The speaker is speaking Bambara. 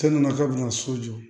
k'a bɛna so jɔ